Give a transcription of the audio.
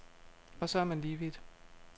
Og så er man lige vidt.